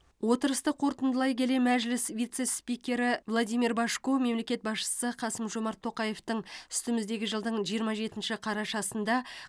отырысты қорытындылай келе мәжіліс вице спикері владимир божко мемлекет басшысы қасым жомарт тоқаевтың үстіміздегі жылдың жиырма жетінші қарашасында